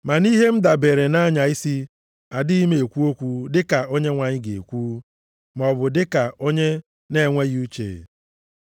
Ma nʼihe m dabeere na-anya isi, adịghị m ekwu okwu dịka Onyenwe anyị ga-ekwu, maọbụ dịka onye na-enweghị uche.